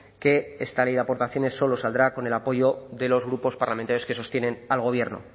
que esta ley de aportaciones solo saldrá con el apoyo de los grupos parlamentarios que sostienen al gobierno